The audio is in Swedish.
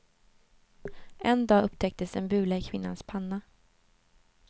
En dag upptäcktes en bula i kvinnans panna.